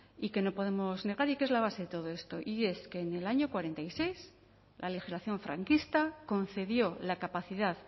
y que no podemos negar y que es la base de todo esto y es que en el año cuarenta y seis la legislación franquista concedió la capacidad